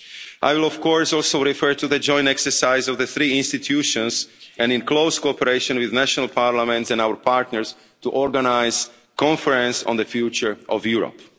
care. I will also refer to the joint exercise of the three institutions and in close cooperation with national parliaments and our partners to organise a conference on the future of Europe.